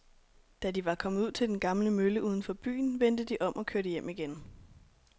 Da de var kommet ud til den gamle mølle uden for byen, vendte de om og kørte hjem igen.